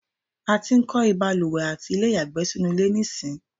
a ti ń kọ́ ìbalùwẹ̀ àti ilé ìyàgbẹ́ sínú ilé nísìń